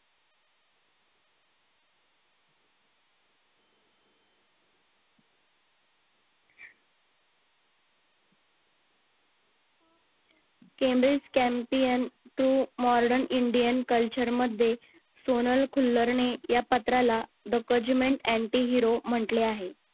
kembridge campaign through modern Indian culture मध्ये सोनल खुल्लर ने या पत्राला the cojiment aunty hero म्हटले आहे